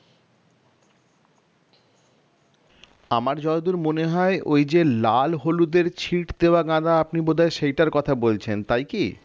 আমার যতদূর মনে হয় ওই যে লাল হলুদের ছিট দেওয়া গাদা আপনি বোধ হয় সেইটার কথা বলছেন তাই কি?